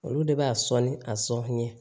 Olu de b'a sɔn ni a sɔn ye